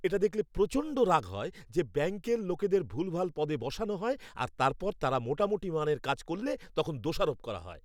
এটা দেখলে প্রচণ্ড রাগ হয় যে ব্যাংকের লোকেদের ভুলভাল পদে বসানো হয় আর তারপর তারা মোটামুটি মানের কাজ করলে তখন দোষারোপ করা হয়।